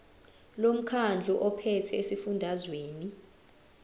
lomkhandlu ophethe esifundazweni